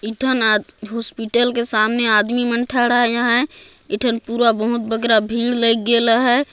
एक ठन हॉस्पिटल